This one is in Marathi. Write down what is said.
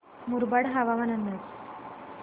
मुरबाड हवामान अंदाज